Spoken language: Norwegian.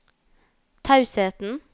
tausheten